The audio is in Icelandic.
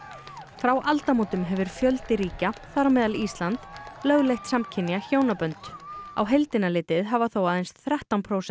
frá aldamótum hefur fjöldi ríkja þar á meðal Ísland lögleitt samkynja hjónabönd á heildina litið hafa þó aðeins þrettán prósent